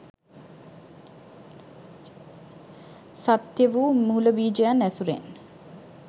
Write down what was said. සත්‍ය වූ මූලබීජයන් ඇසුරෙන්